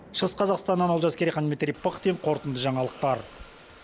шығыс қазақстаннан олжас керейхан дмитрий пыхтин қорытынды жаңалықтар